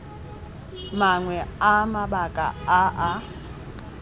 mangwe a mabaka a a